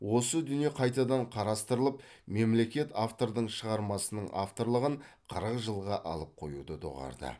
осы дүние қайтадан қарастырылып мемлекет автордың шығармасының авторлығын қырық жылға алып қоюды доғарды